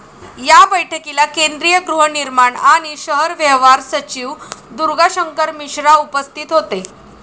या बैठकीला केंद्रीय गृहनिर्माण आणि शहर व्यवहार सचिव दुर्गाशंकर मिश्रा उपस्थित होते.